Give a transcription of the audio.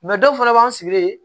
dɔw fana b'an sigi yen